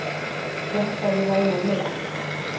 Hélt að ég væri úr leik